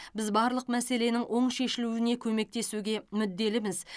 біз барлық мәселенің оң шешілуіне көмектесуге мүдделіміз